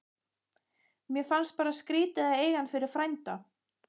Mér fannst bara skrítið að eiga hann fyrir frænda.